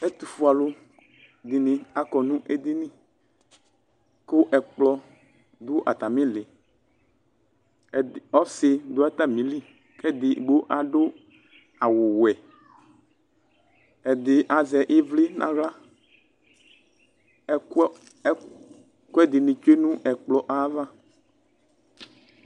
Etʋ fue alʋ dɩnɩ akɔ nʋ edini, kʋ ɛkplɔ dʋ atamɩ lɩƆsɩ dʋ atamɩ li kɛdigbo adʋ awʋ wɛ, ɛdɩ azɛ ɩvlɩ n' aɣlaƐkʋ ɛdɩnɩ tsue nʋ ɛkplɔ ayava